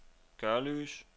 Gørløse